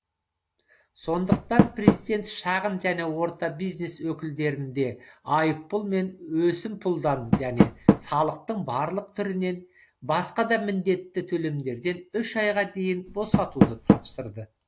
сондықтан президент шағын және орта бизнес өкілдерін де айыппұл мен өсімпұлдан және салықтың барлық түрінен басқа да міндетті төлемдерден үш айға дейін босатуды тапсырды